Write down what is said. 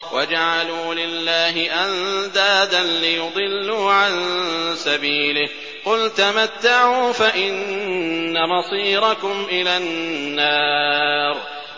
وَجَعَلُوا لِلَّهِ أَندَادًا لِّيُضِلُّوا عَن سَبِيلِهِ ۗ قُلْ تَمَتَّعُوا فَإِنَّ مَصِيرَكُمْ إِلَى النَّارِ